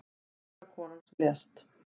Unga konan sem lést